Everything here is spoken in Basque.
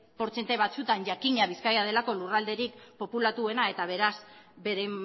portzentaia batzuetan jakina bizkaia delako lurralderik populatuena eta beraz bere